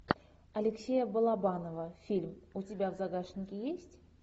алексея балабанова фильм у тебя в загашнике есть